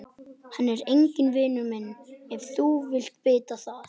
Hann er enginn vinur minn ef þú vilt vita það.